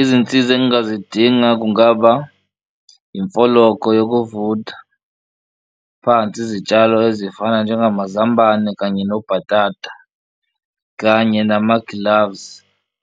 Izinsiza angazidinga kungaba imfologo yokuvutha phansi izitshalo ezifana njengamazambane kanye nobhatata, kanye nama-gloves